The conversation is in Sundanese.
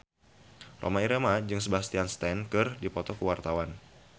Rhoma Irama jeung Sebastian Stan keur dipoto ku wartawan